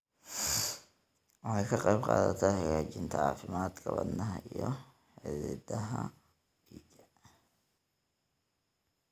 Waxay ka qaybqaadataa hagaajinta caafimaadka wadnaha iyo xididdada dhiigga.